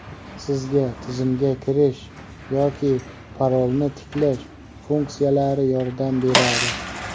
Sizga "Tizimga kirish" yoki "Parolni tiklash" funksiyalari yordam beradi.